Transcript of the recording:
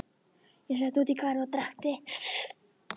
Ég sat úti í garði og drakk te.